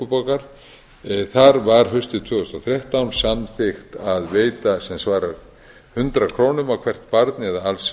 og stuðningi reykjavíkurborgar þar var haustið tvö þúsund og þrettán samþykkt að veita sem svarar hundrað krónum á hvert barn eða alls